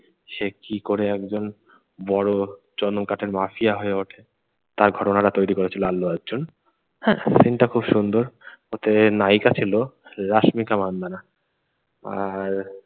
সে কি করে একজন বড়ো চন্দন কাঠের মাফিয়া হয়ে ওঠে তার ঘটনাটা তৈরি করেছিল আল্লু অর্জুন। হ্যাঁ? scene টা খুব সুন্দর। ওতে নায়িকা ছিল রাস্মিকা মান্ধানা আর